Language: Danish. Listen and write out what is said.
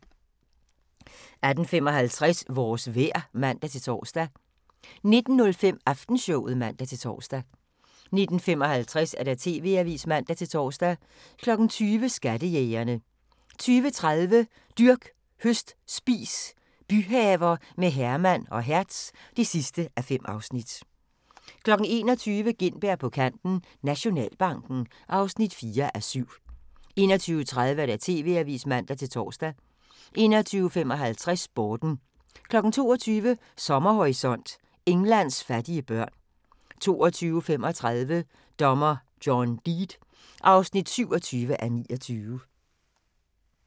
18:55: Vores vejr (man-tor) 19:05: Aftenshowet (man-tor) 19:55: TV-avisen (man-tor) 20:00: Skattejægerne 20:30: Dyrk, høst, spis – byhaver med Herman og Hertz (5:5) 21:00: Gintberg på kanten - Nationalbanken (4:7) 21:30: TV-avisen (man-tor) 21:55: Sporten 22:00: Sommerhorisont: Englands fattige børn 22:35: Dommer John Deed (27:29)